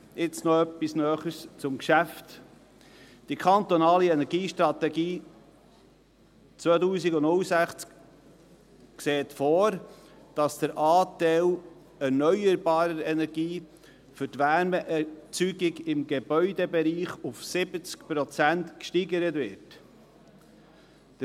Nun noch Näheres zum Geschäft: Die kantonale Energiestrategie 2006 sieht vor, dass der Anteil an erneuerbarer Energie für die Wärmeerzeugung im Gebäudebereich auf 70 Prozent gesteigert wird.